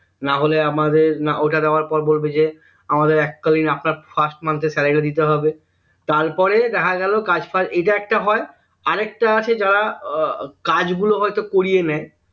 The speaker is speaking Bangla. নাহলে আমাদের ওটা দেয়ার পর বলবে যে আমাদের এককালীন আপনার first month এর salary টা দিতে হবে তারপরে দেখা গেলো কাজ ফাজ এইটা একটা হয় আরেকটা আছে যারা উহ কাজগুলো হয়তো করিয়ে নেয়